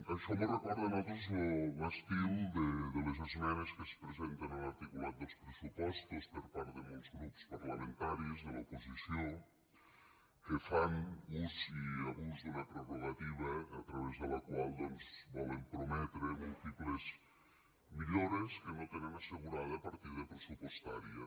això mos recorda a nosaltres l’estil de les esmenes que es presenten a l’articulat dels pressupostos per part de molts grups parlamentaris de l’oposició que fan ús i abús d’una prerrogativa a través de la qual doncs volen prometre múltiples millores que no tenen assegurada partida pressupostària